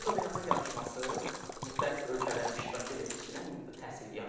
Fizo beynəlxalq yarışması müxtəlif ölkələrin iştirakı ilə keçirilən təhsil yarışmasıdır.